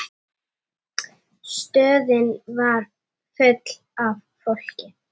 Stöðin var full af fólki.